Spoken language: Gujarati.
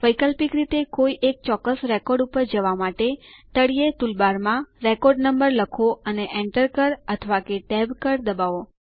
વૈકલ્પિક રીતે કોઈ એક ચોક્કસ રેકોર્ડ ઉપર જવા માટે તળિયે ટૂલબારમાં રેકોર્ડ નમ્બર લખો અને Enter કળ અથવા કે ટેબ કળ દબાવો